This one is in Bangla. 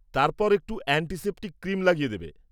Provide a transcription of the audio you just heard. তারপর একটু অ্যান্টিসেপ্টিক ক্রিম লাগিয়ে দেবে।